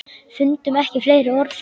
Fundum ekki fleiri orð.